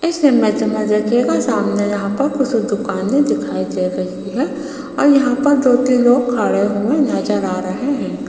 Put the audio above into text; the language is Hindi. इस इमेज मे देखियेगा सामने यहाँ पर कुछ दुकानें दिखाई दे रही है और यहां पर दो तीन लोग खड़े हुए नजर आ रहे हैं।